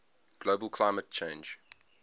global climate change